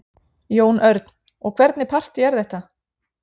Jón Örn: Og hvernig partý er þetta?